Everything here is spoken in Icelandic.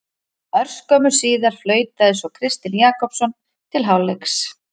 Örskömmu síðar flautaði svo Kristinn Jakobsson til hálfleiks.